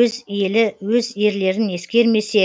өз елі өз ерлерін ескермесе